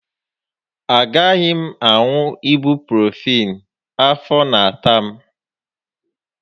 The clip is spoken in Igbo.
Agaghị m aṅụ ibuprofịịn, afọ n'ata m